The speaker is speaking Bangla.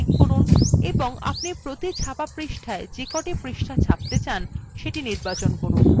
dropdown তীরএ click করুন এবং আপনি প্রতি ছাপা পৃষ্ঠায় যেকটি পৃষ্ঠা ছাপতে চান সেটি নির্বাচন করুন